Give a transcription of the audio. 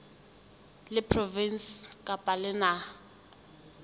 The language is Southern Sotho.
la provinse kapa la naha